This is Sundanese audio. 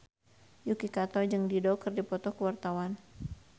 Yuki Kato jeung Dido keur dipoto ku wartawan